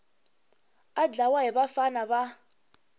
a dlawa hi vafana va